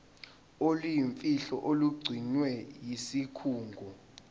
oluyimfihlo olugcinwe yisikhungo